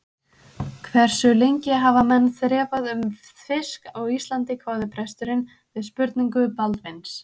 Hversu lengi hafa menn þrefað um fisk á Íslandi, hváði presturinn við spurningu Baldvins.